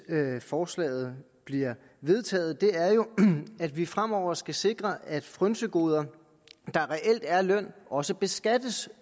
forslaget bliver vedtaget er jo at vi fremover skal sikre at frynsegoder der reelt er løn også beskattes